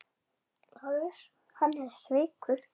LÁRUS: Hann er ekki veikur!